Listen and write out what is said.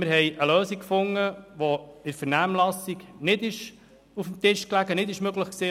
Wir haben eine Lösung gefunden, die in der Vernehmlassung nicht auf dem Tisch lag und nicht möglich war.